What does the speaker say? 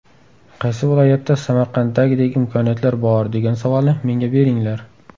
Qaysi viloyatda Samarqanddagidek imkoniyatlar bor, degan savolni menga beringlar.